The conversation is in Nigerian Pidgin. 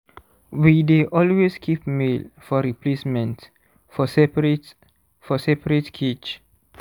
we dey always keep male for replacement for seperate for seperate cage